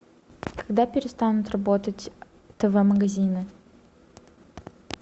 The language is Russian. когда перестанут работать тв магазины